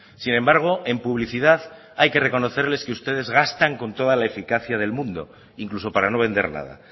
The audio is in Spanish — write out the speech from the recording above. sin embargo en publicidad hay que reconocerles que ustedes gastan con toda la eficacia del mundo incluso para no vender nada